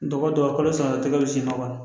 Dɔgɔ don a kalo sara tɛkɛ bɛ siman kɔnɔ